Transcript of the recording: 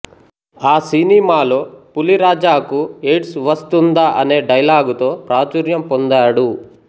ఆ సినిమాలో పులిరాజాకు ఎయిడ్స్ వస్తుందా అనే డైలాగుతో ప్రాచుర్యం పొందాడు